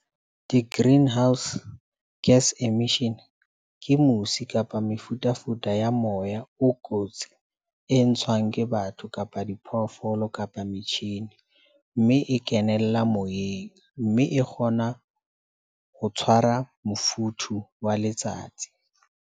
Di-greenhouse gas emission ke musi kapa mefutafuta ya moya o kotsi e ntshang ke batho, kapa diphoofolo kapa metjhini. Mme e kenella moyeng mme e kgona ho tshwara mofuthu wa letsatsi.